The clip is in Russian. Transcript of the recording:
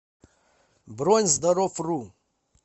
бронь здоровру